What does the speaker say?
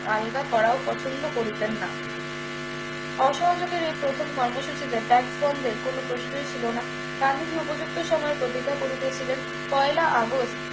আলগা করাও পছন্দ করিতেন না অসহযোগের এই প্রথম কর্মসূচিতে tax বন্দ্বের কোন প্রশ্ন ছিল না গান্ধীজি উপযুক্ত সময়ের প্রতীক্ষা করিতেছিলেন পহেলা আগস্ট